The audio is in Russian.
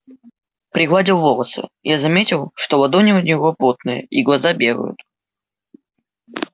пригладил волосы я заметил что ладони у него потные и глаза бегают